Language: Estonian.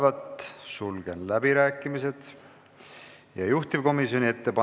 Määran eelnõu 783 muudatusettepanekute esitamise tähtajaks k.a 30. jaanuari kell 17.15.